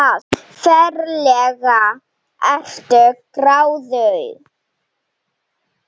Ferlega ertu gráðug!